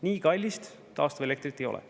Nii kallist taastuvelektrit ei ole.